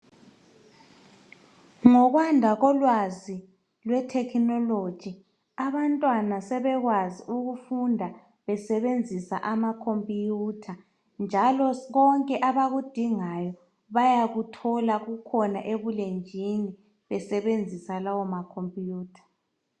Ngokwanda kolwazi lwethekhinologi abanwana sebekwazi ukufunda besebenzisa makhompuyutha njalo konke abakudingayo bayakuthola kukhona ebulenjini besebenzisa lawo makhompuyutha.